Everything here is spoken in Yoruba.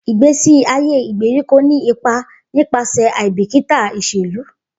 Igbesi aye igberiko ni ipa nipasẹ aibikita iṣelu.